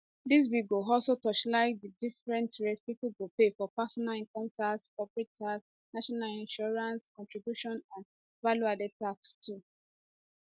dis bill go also torchlight di different rates pipo go pay for personal income tax corporation tax national insurance contributions and valueadded tax too